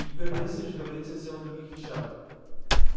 игорь борисович говорит совсем о других вещах